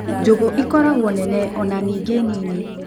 Njũgũ ikoragwo nene ona ningĩ nini.